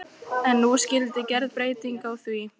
En nú skyldi gerð breyting á því.